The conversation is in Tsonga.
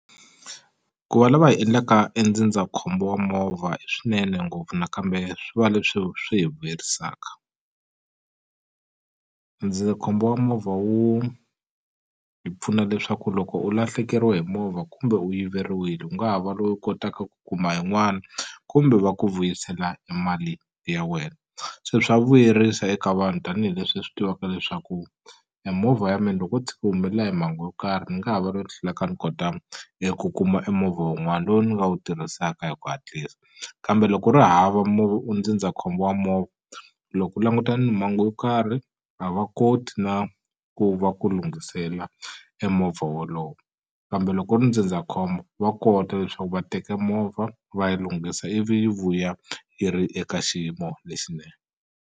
Ku va lava hi endlaka e ndzindzakhombo wa movha i swinene ngopfu nakambe swi va leswi swi hi vuyerisaka ndzindzakhombo wa movha wu hi pfuna leswaku loko u lahlekeriwe hi movha kumbe u yiveriwile u nga ha va loyi u kotaka ku kuma yin'wana kumbe va ku vuyisela e mali ya wena se swa vuyerisa eka vanhu tanihileswi hi swi tivaka leswaku e movha ya mina loko u humelela hi mhangu yo karhi ni nga ha va ni kota eku kuma e movha wun'wana lowu ni nga wu tirhisaka hi ku hatlisa kambe loko u ri hava ndzindzakhombo wa movha loko u languta ni mhangu wo karhi a va koti na ku va ku lunghisela e movha wolowo kambe loko ku ri ndzindzakhombo va kota leswaku va teka movha va yi lunghisa ivi yi vuya yi ri eka xiyimo lexinene.